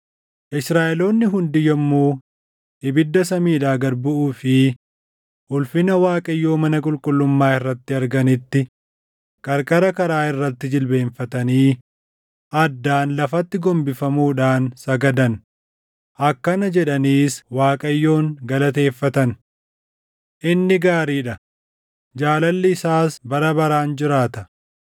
Israaʼeloonni hundi yommuu ibidda samiidhaa gad buʼuu fi ulfina Waaqayyoo mana qulqullummaa irratti arganitti qarqara karaa irratti jilbeenfatanii addaan lafatti gombifamuudhaan sagadan; akkana jedhaniis Waaqayyoon galateeffatan: “Inni gaarii dha; jaalalli isaas bara baraan jiraata.”